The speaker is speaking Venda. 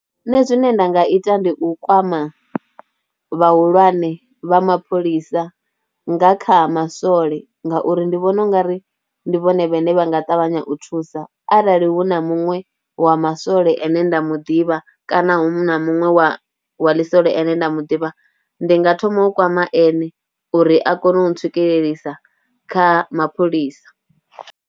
Nṋe zwine nda nga ita ndi u kwama vhahulwane vha mapholisa nga kha maswole ngauri ndi vhona u nga ri ndi vhone vhane vha nga ṱavhanya u thusa arali hu na muṅwe wa masole ane nda mu ḓivha kana hu na muṅwe wa wa ḽisole ane nda mu ḓivha ndi nga thoma u kwama ene uri a kone u ntswikelelisa kha mapholisa.